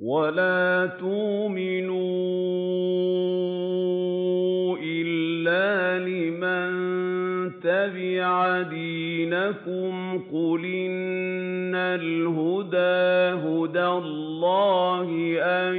وَلَا تُؤْمِنُوا إِلَّا لِمَن تَبِعَ دِينَكُمْ قُلْ إِنَّ الْهُدَىٰ هُدَى اللَّهِ أَن